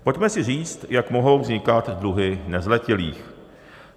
Pojďme si říct, jak mohou vznikat dluhy nezletilých.